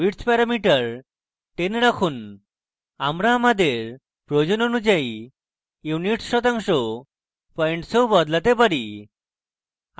width parameter 10 রাখুন আমরা আমাদের প্রয়োজন অনুযায়ী units শতাংশ পয়েন্টসেও বদলাতে পারি